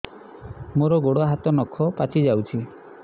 ମୋର ଗୋଡ଼ ହାତ ନଖ ପାଚି ଯାଉଛି